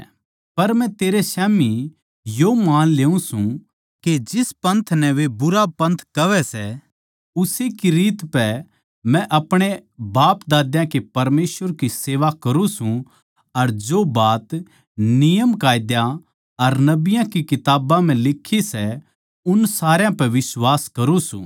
पर मै तेरै स्याम्ही यो मान ल्यु सूं के जिस पन्थ नै वे भुंडापन्थ कहवै सै उस्से की रीत पै मै अपणे बापदाद्या के परमेसवर की सेवा करूँ सूं अर जो बात नियमकायदे अर नबियाँ की किताबां म्ह लिक्खी सै उन सारया पै बिश्वास करूँ सूं